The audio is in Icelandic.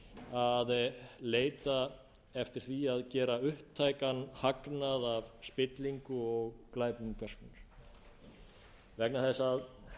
að leita eftir því að gera upptækan hagnað af spillingu og glæpum hvers konar vegna þess að